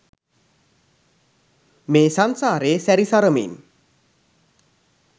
මේ සංසාරේ සැරි සරමින්